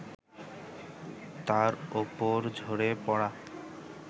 তার ওপর ঝরে পড়া